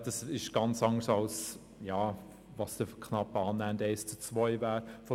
Das ist weit von einem annähernden Verhältnis von eins zu zwei entfernt.